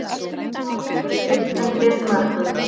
Flúor mælist undir mörkum